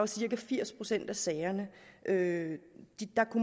cirka firs procent af sagerne at